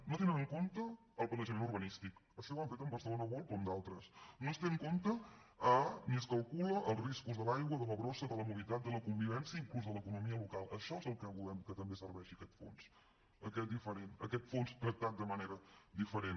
no tenen en compte el planejament urbanístic això ja ho han fet a bcn world o en d’altres no es tenen en compte ni es calculen els riscos de l’aigua de la brossa de la mobilitat de la convivència inclús de l’economia local per a això és el que volem que també serveixi aquest fons aquest fons tractat de manera diferent